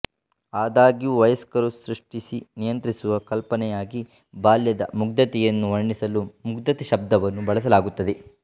ಆದಾಗ್ಯೂ ವಯಸ್ಕರು ಸೃಷ್ಟಿಸಿ ನಿಯಂತ್ರಿಸುವ ಕಲ್ಪನೆಯಾಗಿ ಬಾಲ್ಯದ ಮುಗ್ಧತೆಯನ್ನು ವರ್ಣಿಸಲು ಮುಗ್ಧತೆ ಶಬ್ದವನ್ನು ಬಳಸಲಾಗುತ್ತದೆ